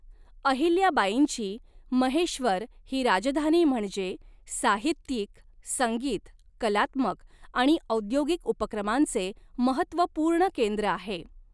अहिल्याबाईंची 'महेश्वर' ही राजधानी म्हणजे साहित्यिक, संगीत, कलात्मक आणि औद्योगिक उपक्रमांचे महत्त्वपूर्ण केंद्र होते.